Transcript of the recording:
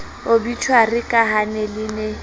obitjhuari ka ha le ne